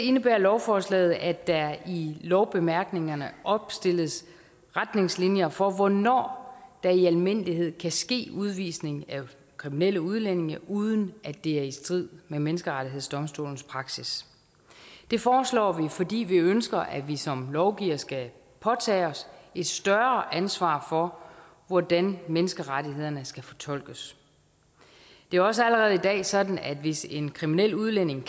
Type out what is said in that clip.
indebærer lovforslaget at der i lovbemærkningerne opstilles retningslinjer for hvornår der i almindelighed kan ske udvisning af kriminelle udlændinge uden at det er i strid med menneskerettighedsdomstolens praksis det foreslår vi fordi vi ønsker at vi som lovgivere skal påtage os et større ansvar for hvordan menneskerettighederne skal fortolkes det er også allerede sådan at hvis en kriminel udlænding